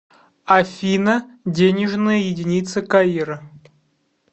афина денежная единица каира